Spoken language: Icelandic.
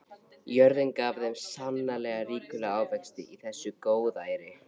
Jörðin gaf þeim sannarlega ríkulega ávexti í þessu góðæri.